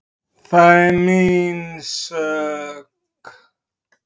Það er mín sök.